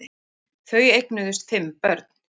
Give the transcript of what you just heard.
Þau eignuðust fimm börn